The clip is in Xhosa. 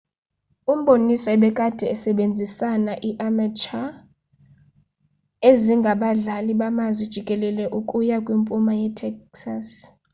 umboniso ebekade esebenzisana i-amateur ezingabadlali bamazwi jikelele ukuya kwimpuma ye-texas